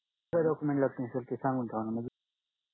कोणते document लागतील sir ते सांगून ठेवांना मंजी